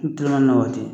N teleman na waati